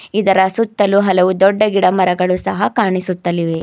ಇದರ ಸುತ್ತಲೂ ಹಲವು ದೊಡ್ಡ ಗಿಡಮರಗಳು ಸಹ ಕಾಣಿಸುತ್ತವೆ.